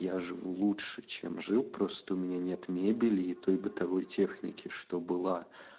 я живу лучше чем жил просто у меня нет мебели и той бытовой техники что была